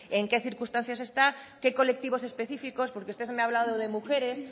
en qué circunstancias están qué colectivos específicos porque usted me ha hablado de mujeres